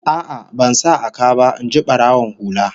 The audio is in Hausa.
A'a, ban sa a ka ba, in ji barawon hula